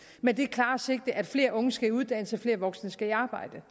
med det klare sigte at flere unge skal i uddannelse og flere voksne skal i arbejde